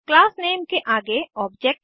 class name के आगे object नामे